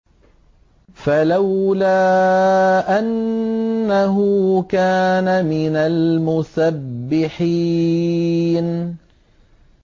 فَلَوْلَا أَنَّهُ كَانَ مِنَ الْمُسَبِّحِينَ